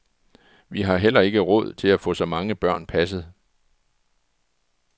Vi har heller ikke råd til at få så mange børn passet.